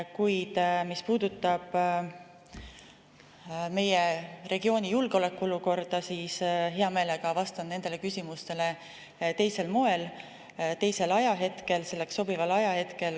Kuid mis puudutab meie regiooni julgeolekuolukorda, siis hea meelega vastan nendele küsimustele teisel moel, teisel ajahetkel, selleks sobival ajahetkel.